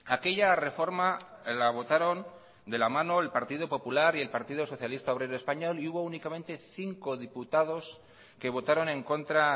aquella reforma la votaron de la mano el partido popular y el partido socialista obrero español y hubo únicamente cinco diputados que votaron en contra